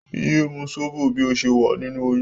Yé mú sóbò bí o ṣe wà nínú oyún!